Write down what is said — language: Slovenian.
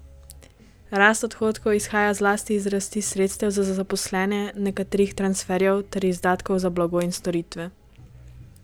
Rast odhodkov izhaja zlasti iz rasti sredstev za zaposlene, nekaterih transferjev ter izdatkov za blago in storitve.